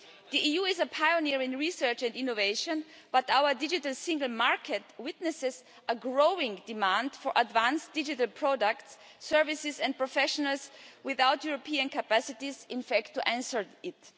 The EU is a pioneer in research and innovation, but our digital single market witnesses a growing demand for advanced digital products, services and professionals without us having the European capacities to answer it.